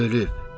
Ölüb.